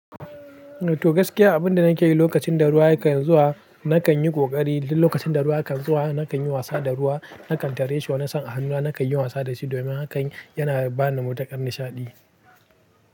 Toh gaskiya abun da nake yi lokacin da ruwa kan zuwa nakan yi ƙoƙari. Lokacin da ruwa kan zuwa nakan yi wasa da ruwa, na kan tarishi, na san hannuna, na kan yi wasa da shi domin haka yana ba ni matuƙar nishaɗi.